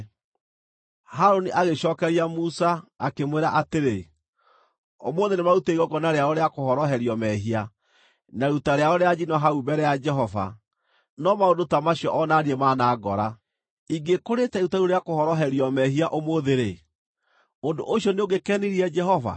Harũni agĩcookeria Musa, akĩmwĩra atĩrĩ, “Ũmũthĩ nĩmarutire igongona rĩao rĩa kũhoroherio mehia, na iruta rĩao rĩa njino hau mbere ya Jehova, no maũndũ ta macio o na niĩ manangora. Ingĩkũrĩĩte iruta rĩu rĩa kũhoroherio mehia ũmũthĩ-rĩ, ũndũ ũcio nĩũngĩkenirie Jehova?”